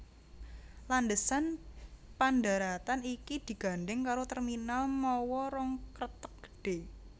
Landhesan pandharatan iki digandhèng karo terminal mawa rong kreteg gedhé